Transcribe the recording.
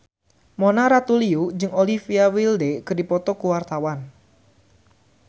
Mona Ratuliu jeung Olivia Wilde keur dipoto ku wartawan